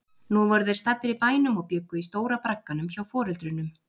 Nú voru þeir staddir í bænum og bjuggu í stóra bragganum hjá foreldrunum.